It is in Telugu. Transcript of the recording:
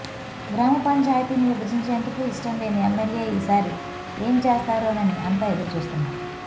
గ్రామపంచాయతీని విభజించేందుకు ఇష్టంలేని ఎమ్మెల్యే ఈ సారి ఏం చేస్తారోనని అంతా ఎదురుచూస్తున్నారు